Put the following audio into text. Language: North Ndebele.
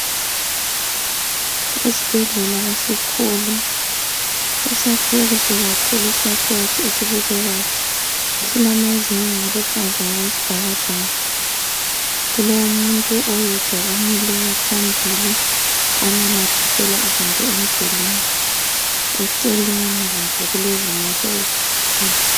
Esibhedlela iskhulu , esiyakwe kuhle kakhulu, yisakhiwo esibukekeyo. Silamazenege aluhlaza okwesibhakabhaka. Kulomuntu oyedwa omileyo phambili onamathisela izinto emdulweni. Eceleni lakho kulezimota ezikhona.